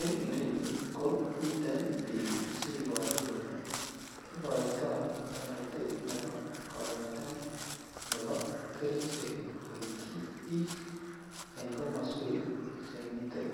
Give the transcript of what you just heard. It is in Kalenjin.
En ireyu ko miten biik cheiboru kelee okoitoi toretet neboo kokoitoet neboo kerichek koityi biik en komoswek chemiten